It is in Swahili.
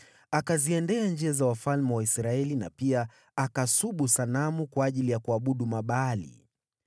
Akaenenda katika njia za wafalme wa Israeli, na pia akasubu sanamu kwa ajili ya kuabudu Mabaali.